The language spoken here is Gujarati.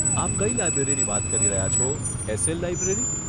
આપ કઈ લાઈબ્રેરીની વાત કરી રહ્યા છો, એસ એલ લાઈબ્રેરી?